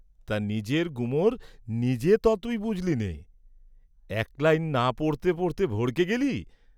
তা নিজের গুমর নিজে ত তুই বুঝলি নে, এক লাইন না পড়তে পড়তে ভড়কে গেলি।